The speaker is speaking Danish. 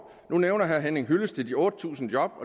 nu nævner herre henning hyllested de otte tusind job